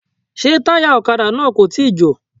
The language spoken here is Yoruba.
Ṣé táyà ọ̀kadà náà kò tíì jò.